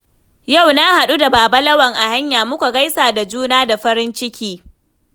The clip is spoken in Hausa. Yau na haɗu da Baba Lawan a hanya, muka gaisa da juna da farin ciki.